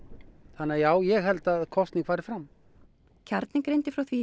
þannig að já ég held að kosning fari fram kjarninn greindi frá því í